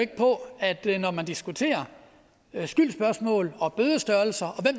ikke på at det er når man diskuterer skyldsspørgsmål og bødestørrelser